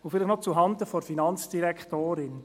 Vielleicht noch zuhanden der Finanzdirektorin: